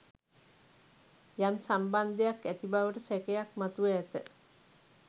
යම් සම්බන්දයක් ඇතිබවට සැකයක් මතුව ඇත.